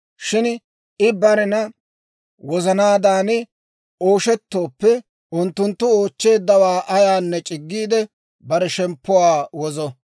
Shin I barena wozanaadan ooshetooppe, unttunttu oochcheeddawaa ayaanne c'iggiide, bare shemppuwaa wozo.